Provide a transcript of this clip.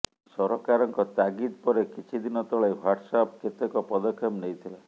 ସରକାରଙ୍କ ତାଗିଦ ପରେ କିଛି ଦିନ ତଳେ ହ୍ବାଟ୍ସଆପ କେତେକ ପଦକ୍ଷେପ ନେଇଥିଲା